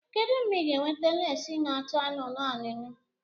Kedu mgbe ị ga-eweta lesii n'acha anụnụ anụnụ?